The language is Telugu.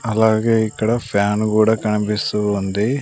అలాగే ఇక్కడ ఫ్యాన్ కూడా కనిపిస్తూ ఉంది.